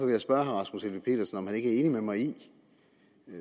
jeg spørge herre rasmus helveg petersen om er enig med mig i